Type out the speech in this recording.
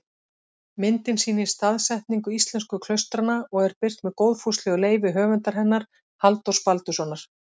Myndin sýnir staðsetningu íslensku klaustranna og er birt með góðfúslegu leyfi höfundar hennar, Halldórs Baldurssonar.